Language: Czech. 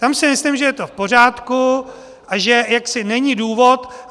Tam si myslím, že je to v pořádku a že jaksi není důvod.